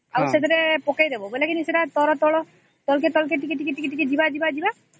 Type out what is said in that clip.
ଆଉ ସେଥିରେ ପକେଇଦେବା ସେଟାକେ ତଳକୁ ତଳ ଟିକେ ଟିକେ ଯିବା ଯିବା ଯିବା